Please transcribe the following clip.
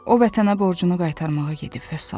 O vətənə borcunu qaytarmağa gedib, vəssalam.